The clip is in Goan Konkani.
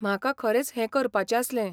म्हाका खरेंच हें करपाचें आसलें.